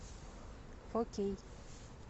окей